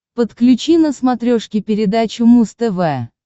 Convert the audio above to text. подключи на смотрешке передачу муз тв